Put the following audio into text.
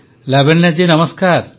ପ୍ରଧାନମନ୍ତ୍ରୀ ଲାବଣ୍ୟାଜୀ ନମସ୍କାର